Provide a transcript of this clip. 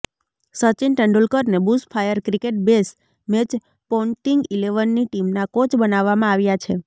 સચિન તેંડુલકરને bushfire cricket bash match Ponting ઈલેવનની ટીમના કોચ બનાવવામાં આવ્યા છે